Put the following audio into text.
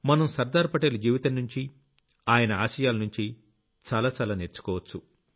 మనం సర్దార్ పటేల్ జీవితంనుంచి ఆయన ఆశయాలనుంచి చాలా చాలా నేర్చుకోవచ్చు